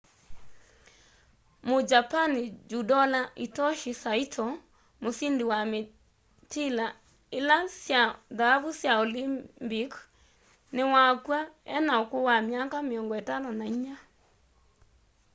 mujapani judola hitoshi saito musindi wa mitila ili sya thaavu sya olimpic niwakw'a ena ukuu wa miaka 54